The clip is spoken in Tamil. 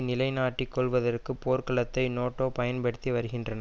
நிலைநாட்டிக் கொள்வதற்கு போர்க்களத்தை நேட்டோ பயன்படுத்தி வருகின்றன